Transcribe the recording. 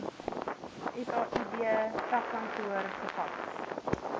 said takkantoor gefaks